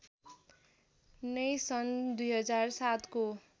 नै सन् २००७ को